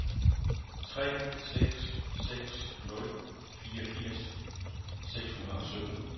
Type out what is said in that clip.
tre seks seks nul fireogfirs seks hundrede og sytten